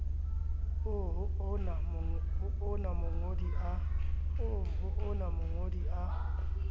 oo ho ona mongodi a